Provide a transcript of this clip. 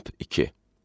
Temp 2.